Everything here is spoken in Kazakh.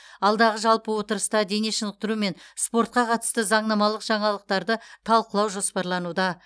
алдағы жалпы отырыста дене шынықтыру мен спортқа қатысты заңнамалық жаңалықтарды талқылау жоспарлануда